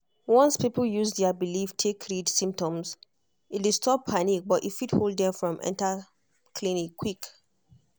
once people use their belief take read symptoms e dey stop panic but e fit hold dem from enter clinic quick.